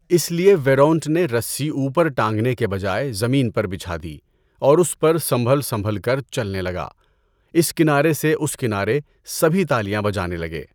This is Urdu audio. اس لیے ویرونٹ نے رسّی اوپر ٹانگنے کے بجائے زمین پر بچھا دی اور اس پر سنبھل سنبھل کر چلنے لگا. اس کنارے سے اس کنارے سبھی تالیاں بجانے لگے!